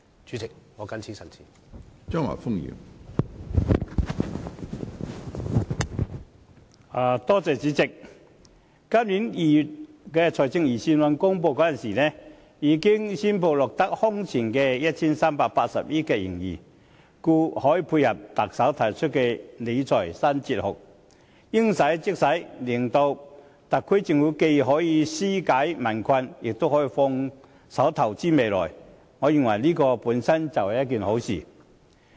主席，今年2月公布的財政預算案顯示，政府財政盈餘達到空前的 1,380 億元，故可配合特首提出的理財新哲學，應使則使，讓特區政府既可紓解民困，也可放手投資未來，我認為這是好事。